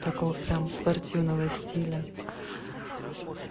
такого прямо спортивного стиля